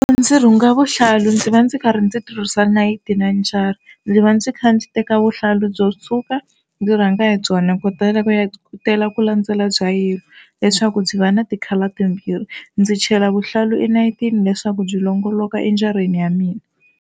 Ndzi rhunga vuhlalu ndzi va ndzi karhi ndzi tirhisa nayiti na njara. Ndzi va ndzi kha ndzi teka vuhlalu byo tshuka ndzi rhanga hi byona ku ku ya tela ku landzela bya yellow leswaku byi va na ti-colour timbirhi ndzi chela vuhlalu enayiti leswaku byi longolokile enjareni ya mina.